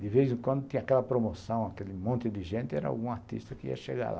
De vez em quando, tinha aquela promoção, aquele monte de gente, e era algum artista que ia chegar lá.